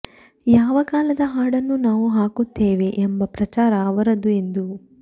ಯಾವ ಕಾಲದ ಹಾಡನ್ನೂ ನಾವು ಹಾಕುತ್ತೇವೆ ಎಂಬ ಪ್ರಚಾರ ಅವರದು ಎಂದು